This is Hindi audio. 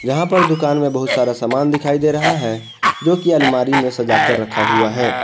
यहां पर दुकान में बहुत सारा सामान दिखाई दे रहा है जो की अलमारी में सजा कर रखा हुआ है।